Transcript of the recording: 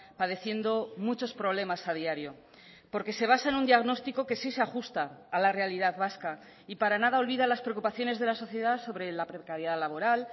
padeciendo muchos problemas a diario porque se basa en un diagnóstico que sí se ha ajusta a la realidad vasca y para nada olvida las preocupaciones de la sociedad sobre la precariedad laboral